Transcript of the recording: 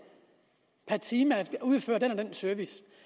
per time at udføre den og den service